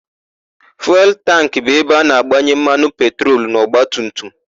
Fuelu tankị bụ ebe a na-agbanye mmanụ petrolu n'ọgbatumtum.